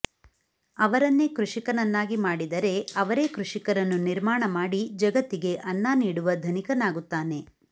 ಅವರನ್ನೆ ಕೃಷಿಕನನ್ನಾಗಿ ಮಾಡಿದರೆ ಅವರೇ ಕೃಷಿಕರನ್ನು ನಿರ್ಮಾಣಮಾಡಿ ಜಗತ್ತಿಗೆ ಅನ್ನ ನೀಡುವ ಧನಿಕನಾಗುತ್ತಾನೆ